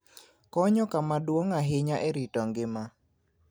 konyo kama duong' ahinya e rito ngima.